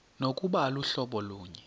nokuba aluhlobo lunye